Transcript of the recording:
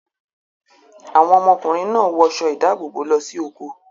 Àwọn ọmọkùnrin náà wọṣọ ìdáàbòbò lọ sí oko.